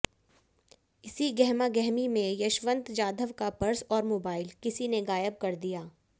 इसी गहमा गहमी में यशवंत जाधव का पर्स और मोबाइल किसी ने गायब कर दिया